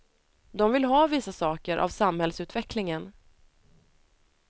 De vill ha vissa saker av samhällsutvecklingen.